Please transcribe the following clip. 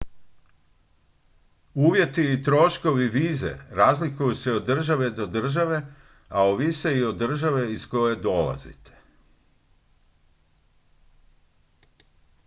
uvjeti i troškovi vize razlikuju se od države do države a ovise i o državi iz koje dolazite